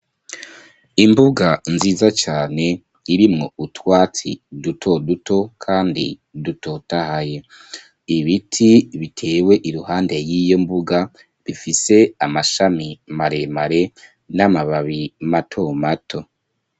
Imbuga nziza cane, irimwo utwatsi duto duto kandi dutotahaye; ibiti bitewe iruhande y'iyo mbuga, bifise amashami maremare, n'amababi mato mato.